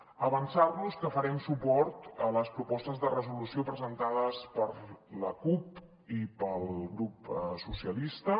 avançar los que farem suport a les propostes de resolució presentades per la cup i pel grup socialistes